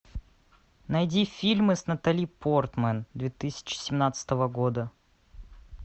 найди фильмы с натали портман две тысячи семнадцатого года